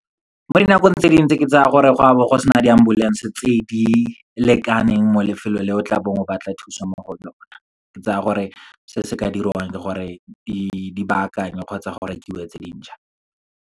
Mo dinakong tse dingwe ntse ke tsa gore gwa be go sena di-ambulance-e tse di lekaneng mo lefelong leo tla bong o batla thusa mo go lone. Ke tsaya gore se se ka dirwang ke gore di baakangwe kgotsa go rekiwe tse dintšha.